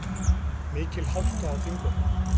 Mikil hálka á Þingvöllum